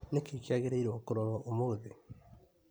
Nĩkĩĩ kĩagĩrĩirwo kũrorwo ũmũthĩ ?